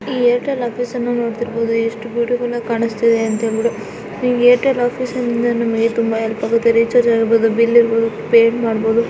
ಈ ಏರ್ಟೆಲ್ ಆಫೀಸ ನ್ನು ನೋಡ್ತಾ ಇರಬಹುದು ಎಷ್ಟು ಬ್ಯೂಟಿಫುಲ್ ಆಗಿ ಕಾಣುತ್ತಿದೆ ಅಂತ ಹೇಳ್ಬಿಟ್ಟು ಈ ಏರ್ಟೆಲ್ ಆಫೀಸಿಂದ ನಮಗೆ ತುಂಬಾ ಹೆಲ್ಪ್ ಆಗುತ್ತೆ ರೀಚಾರ್ಜ್ ಆಗಿರಬಹುದು ಬಿಲ್ ಇರಬಹುದು ಪೇ ಮಾಡಬಹುದು.